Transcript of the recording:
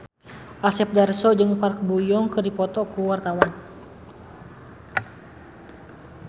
Asep Darso jeung Park Bo Yung keur dipoto ku wartawan